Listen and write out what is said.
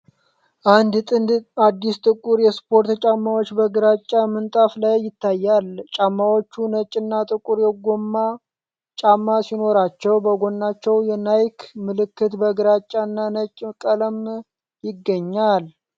አንድ ጥንድ አዲስ ጥቁር የስፖርት ጫማዎች በግራጫ ምንጣፍ ላይ ይታያል። ጫማዎቹ ነጭና ጥቁር የጎማ ጫማ ሲኖራቸው፣ በጎናቸው የናይክ ምልክት በግራጫና ነጭ ቀለም ይገኛል።